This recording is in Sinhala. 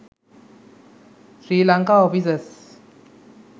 sri lanka offices